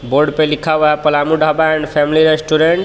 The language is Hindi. बोर्ड पे लिखा हुआ हे Palamu dhaba and family restaurant .